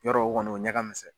Yɔrɔ o kɔni o ɲa ka misɛn.